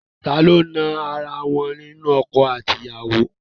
Ta ló na ara wọn nínú ọkọ àti ìyàwó?